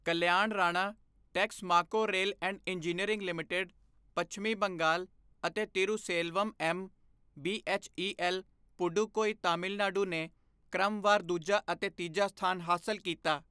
Kalyan Rana, Texmaco rail and engineering limited, ਪੱਛਮੀ ਬੰਗਾਲ ਅਤੇ Thiruselvam M, BHEL Pudukkottai Tamil Nadu ਨੇ ਕ੍ਰਮਵਾਰ ਦੂਜਾ ਅਤੇ ਤੀਜਾ ਸਥਾਨ ਹਾਸਲ ਕੀਤਾ